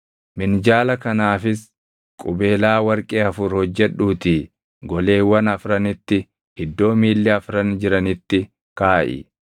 Minjaala kanaafis qubeelaa warqee afur hojjedhuutii goleewwan afranitti iddoo miilli afran jiranitti kaaʼi.